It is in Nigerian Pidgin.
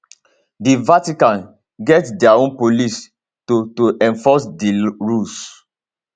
di vatican get dia own police to to enforce di rules